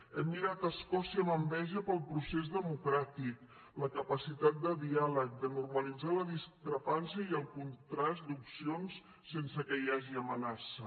hem mirat escòcia amb enveja pel procés democràtic la capacitat de diàleg de normalitzar la discrepància i el contrast d’opcions sense que hi hagi amenaça